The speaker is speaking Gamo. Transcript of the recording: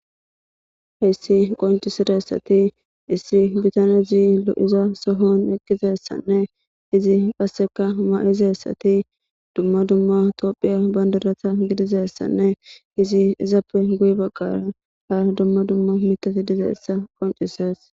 heyssi qoncisiressati isri bitanezi lo7iza sohon eqqizessanne izi passeka ma7izeessati dumma dumma toophiya bandarata gidizessanne izi izappe guy baggara ha dumma dumma mitati dizeessa qoncises